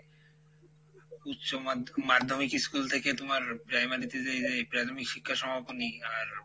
উচ্চমাধ্য~মাধ্যমিক school থেকে তুমার primary তে যে যে আর